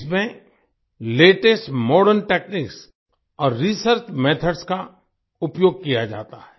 इसमें latest modern techniques और research methods का उपयोग किया जाता है